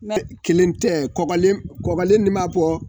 kelen tɛ kɔgɔlen nin b'a bɔ